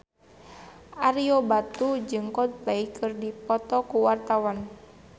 Ario Batu jeung Coldplay keur dipoto ku wartawan